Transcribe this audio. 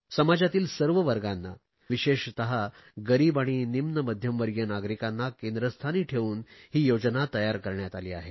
समाजातील सर्व वर्गांना विशेषत गरीब आणि निम्न मध्यमवर्गीय नागरिकांना केंद्रस्थानी ठेवून ही योजना तयार करण्यात आली आहे